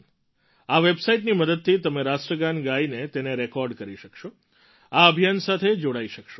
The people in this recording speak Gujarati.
આ વેબસાઇટની મદદથી તમે રાષ્ટ્રગાન ગાઈને તેને રેકૉર્ડ કરી શકશો આ અભિયાન સાથે જોડાઈ શકશો